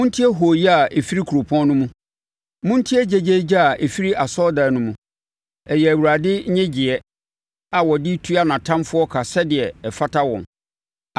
Montie hooyɛ a ɛfiri kuropɔn no mu, montie gyegyeegye a ɛfiri asɔredan no mu! Ɛyɛ Awurade nnyegyeeɛ a ɔde retua nʼatamfoɔ ka sɛdeɛ ɛfata wɔn.